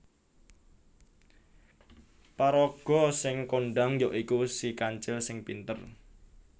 Paraga sing kondhang ya iku Si Kancil sing pinter